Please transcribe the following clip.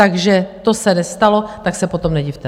Takže to se nestalo, tak se potom nedivte!